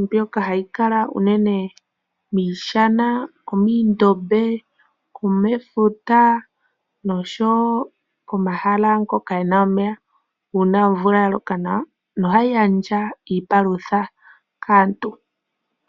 mbyoka hayi kala unene miishana, muundombe, mefuta osho wo momahala ngoka ge na omeya uuna omvula ya loka nawa, nohayi gandja iipalutha kaantu.